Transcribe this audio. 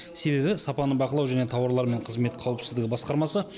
себебі сапаны бақылау және тауарлар мен қызмет қауіпсіздігі басқармасы